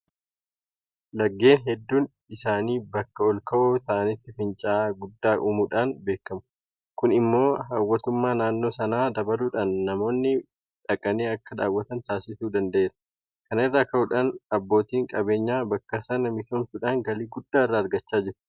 Laggeen hedduun isaanii bakka olka'oo ta'anitti fincaa'aa guddaa uumuudhaan beekamu. Kun immoo hawwattummaa naannoo sanaa dabaluudhaan namoonni dhaqanii akka daawwatan taasisuu danda'eera. Kana irraa ka'uudhaan abbootiin qabeenyaa bakka sana misoomsuudhaan galii guddaa irraa argachaa jiru.